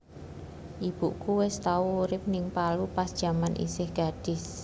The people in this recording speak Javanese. Ibuku wes tau urip ning Palu pas jaman isih gadis